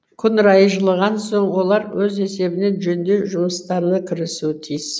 күн райы жылыған соң олар өз есебінен жөндеу жұмыстарына кірісуі тиіс